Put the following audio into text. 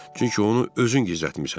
Çünki onu özün gizlətmisən.